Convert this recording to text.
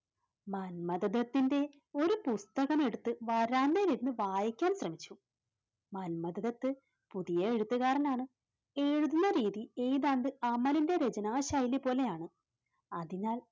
മന്മഥദത്തിന്റെ ഒരു പുസ്തകം എടുത്ത് വരാന്തയിൽ നിന്ന് വായിക്കാൻ ശ്രമിച്ചു. മന്മഥദത്ത് പുതിയ എഴുത്തുകാരനാണ്, എഴുതുന്ന രീതി ഏതാണ്ട് അമലിന്റെ രചനാ ശൈലി പോലെയാണ്. അതിനാൽ